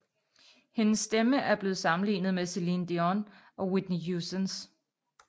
Hendes stemme er blevet sammenlignet med Celine Dion og Whitney Houstons